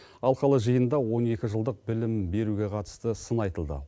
алқалы жиында он екі жылдық білім беруге қатысты сын айтылды